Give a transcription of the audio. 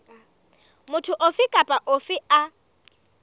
motho ofe kapa ofe a